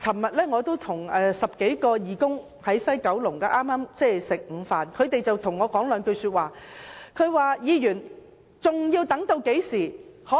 昨天我與10多名義工在西九龍午膳，他們問我："梁議員，究竟還要等到甚麼時候？